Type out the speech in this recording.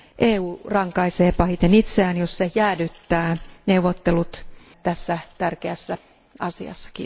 EU rankaisee pahiten itseään, jos se jäädyttää neuvottelut tässä tärkeässä asiassa.